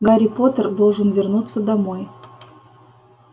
гарри поттер должен вернуться домой